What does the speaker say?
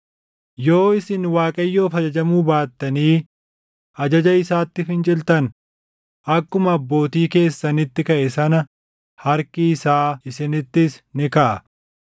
Yoo isin Waaqayyoof ajajamuu baattanii ajaja isaatti finciltan akkuma abbootii keessanitti kaʼe sana harki isaa isinittis ni kaʼa.